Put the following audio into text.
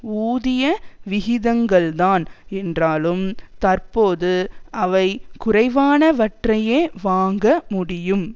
ஊதிய விகிதங்கள்தான் என்றாலும் தற்போது அவை குறைவானவற்றையே வாங்க முடியும்